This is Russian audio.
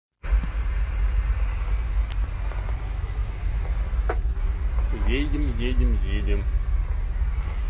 едем едем едем